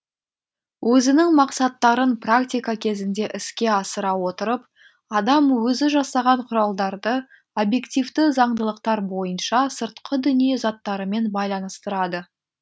өзінің максаттарын практика кезінде іске асыра отырып адам өзі жасаған құралдарды объективті заңдылықтар бойынша сыртқы дүние заттарымен байланыстырады